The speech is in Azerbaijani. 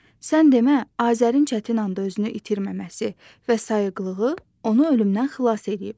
Sən demə, Azərin çətin anda özünü itirməməsi və sayıqlığı onu ölümdən xilas eləyib.